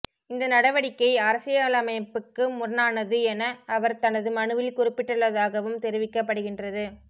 இந்த நடவடிக்கை அரசியலமைப்புக்கு முரணானது என அவர் தனது மனுவில் குறிப்பிட்டுள்ளதாகவும் தெரிவிக்கப்படுகின்றது